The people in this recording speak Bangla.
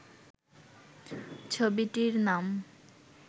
ছবিটির নাম